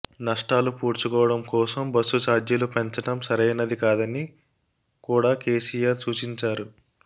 నష్టాలు పూడ్చుకోడం కోసం బస్సు చార్జీలు పెంచడం సరైనది కాదని కూడా కేసిఆర్ సూచించారు